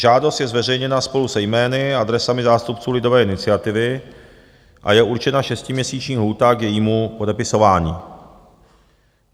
Žádost je zveřejněna spolu se jmény a adresami zástupců lidové iniciativy a je určena šestiměsíční lhůta k jejímu podepisování.